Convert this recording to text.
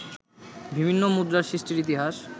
বিভিন্ন মুদ্রার সৃষ্টির ইতিহাস